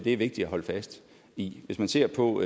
er vigtigt at holde fast i hvis man ser på